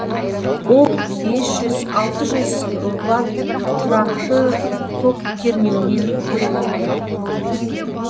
ол бес жүз алты жүз ватт тұрақты ток кернеуімен қоректенеді